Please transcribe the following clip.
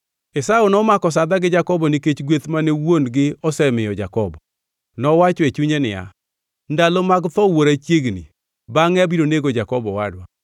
Esau nomako sadha gi Jakobo nikech gweth mane wuon-gi osemiyo Jakobo. Nowacho e chunye niya, “ndalo mag tho wuora chiegni, bangʼe abiro nego Jakobo owadwa.”